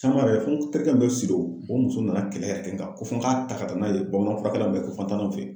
fo n terikɛ dɔ bɛ Sido o muso nana kɛlɛ yɛrɛ kɛ n kan, ko fɔ n ka ta ka taa n'a ye bamananfurakɛlaw bɛ yen ko fɔ an ka taa n'a y'o fɛ yen